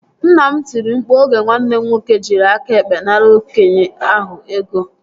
Nna m tiri mkpu oge nwanne m nwoke jiri aka ekpe nara okenye ahụ ego